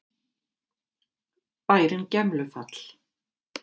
Bærinn Gemlufall.